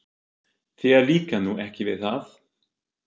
Þér líkar nú ekki við það?